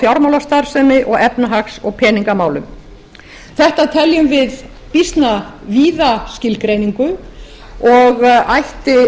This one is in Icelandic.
fjármálastarfsemi og efnahags og peningamálum þetta teljum við býsna víða skilgreiningu og ætti